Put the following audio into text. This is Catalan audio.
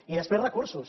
i després recursos